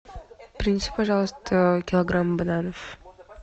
принеси пожалуйста килограмм бананов